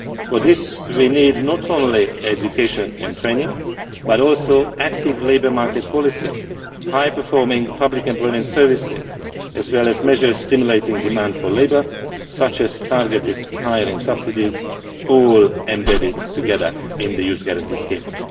For this we need not only education and training, but also active labour market policies, high performing public employment services, as well as measures stimulating demand for labour, such as targeted hiring subsidies, all embedded together in the Youth Guarantee Schemes.